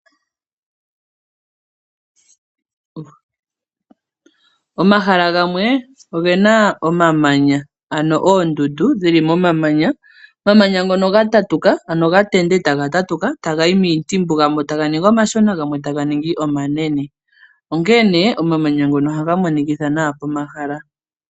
Omahala gamwe ogena omamanya, ano oondundu dhili momamanya. Omamanya ngo oha ga tende eta ga tatuka, eta ka ningi omashona, eta ga yi miintimbu, gamwe ta ga ningi omanene. Onkene omamanya ngo oha ga monikitha nawa pomahala.